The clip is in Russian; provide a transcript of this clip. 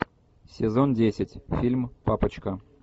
сезон десять фильм папочка